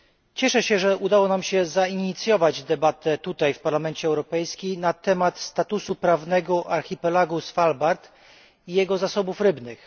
Cieszę się, że udało nam się zainicjować debatę tutaj w Parlamencie Europejskim na temat statusu prawnego archipelagu Svalbard i jego zasobów rybnych.